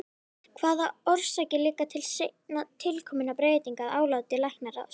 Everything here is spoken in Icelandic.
Hvaða orsakir liggja til seinna tilkominna breytinga að áliti læknaráðs?